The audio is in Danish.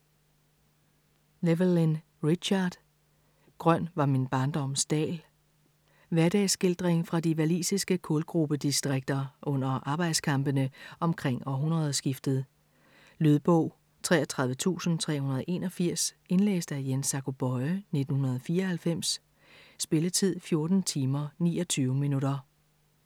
Llewellyn, Richard: Grøn var min barndoms dal Hverdagsskildring fra de walisiske kulgrubedistrikter under arbejdskampene omkring århundredeskiftet. Lydbog 33381 Indlæst af Jens Zacho Böye, 1994. Spilletid: 14 timer, 29 minutter.